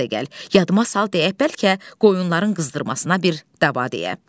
Yadıma sal deyək bəlkə qoyunların qızdırmasına bir dava deyə.